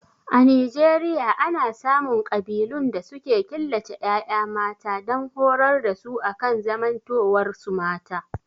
A Nijeriaya ana samun ƙabilun da suke killace ƴaƴa mata dan horar da su akan zamantowar su mata